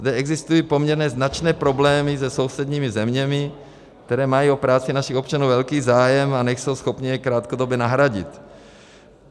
Zde existují poměrně značné problémy se sousedními zeměmi, které mají o práci našich občanů velký zájem a nejsou schopny je krátkodobě nahradit.